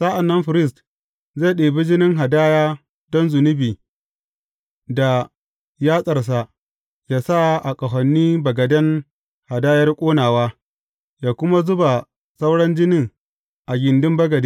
Sa’an nan firist zai ɗibi jinin hadaya don zunubi da yatsarsa yă sa a ƙahonin bagaden hadayar ƙonawa, yă kuma zuba sauran jinin a gindin bagade.